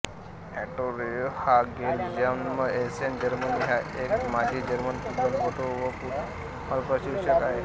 Otto Rehhagel जन्म Essen Germany हा एक माजी जर्मन फुटबॉलपटू व फुटबॉल प्रशिक्षक आहे